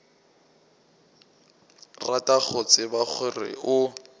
rata go tseba gore o